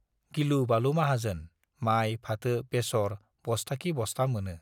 गिलु-बालु माहाजोन - माइ, फाथो, बेसर बस्ताखि बस्ता मोनो।